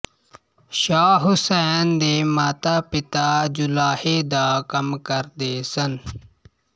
ਸ਼ਾਹ ਹੁਸੈਨ ਦੇ ਮਾਤਾਪਿਤਾ ਜੁਲਾਹੇ ਦਾ ਕੰਮ ਕਰਦੇ ਸਨ